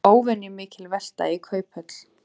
Óvenjumikil velta í Kauphöll